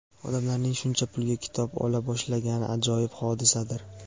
odamlarning shuncha pulga kitob ola boshlagani ajoyib hodisadir!.